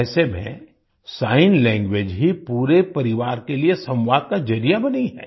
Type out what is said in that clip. ऐसे में sign language ही पूरे परिवार के लिए संवाद का जरिया बनी है